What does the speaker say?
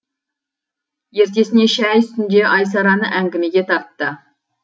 ертесіне шәй үстінде айсараны әңгімеге тартты